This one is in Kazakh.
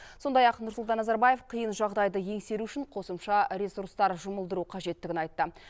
сондай ақ нұрсұлтан назарбаев қиын жағдайды еңсеру үшін қосымша ресурстар жұмылдыру қажеттігін айтты